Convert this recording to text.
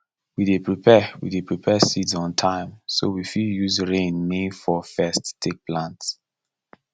we dey prepare we dey prepare seeds on time so we fit use rain main fall first take plant